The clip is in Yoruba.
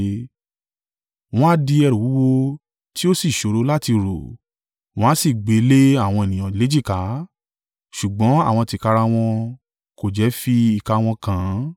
Wọ́n á di ẹrù wúwo tí ó sì ṣòro láti rù, wọ́n a sì gbé e le àwọn ènìyàn léjìká, ṣùgbọ́n àwọn tìkára wọn kò jẹ́ fi ìka wọn kan an.